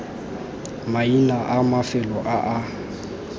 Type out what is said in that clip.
maina a mafelo a a